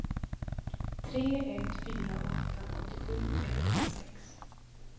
tre ett fyra åtta åttiosju etthundrasex